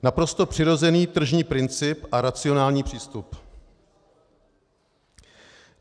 Naprosto přirozený tržní princip a racionální přístup.